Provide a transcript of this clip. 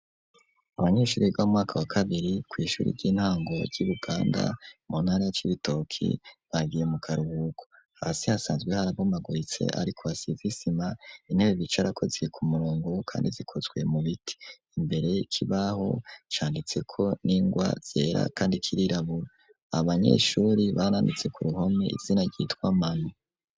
Abanyeshure biga mu mwaka wa kabiri kw’ishuri ry'intango ryi buganda mu ntara ya c'ibitoki bagiye mu karuhuko, hasi hasanzwe harabomagoritse ariko hasize i sima ,intebe bicarako ziri ku murongo kandi zikozwe mu biti, imbere ikibaho canditseko n'ingwa zera kandi kirirabura ,abanyeshuri baranditse ku ruhome izina ryitwa mane.